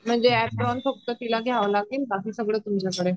म्हणजे अपरेण फक्त तिला घ्याव लागेल बाकी सर्व तुमच्या कडून